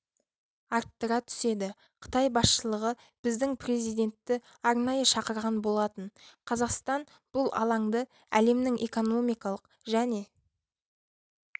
арттыра түседі қытай басшылығы біздің президентті арнайы шақырған болатын қазақстан бұл алаңды әлемнің экономикалық және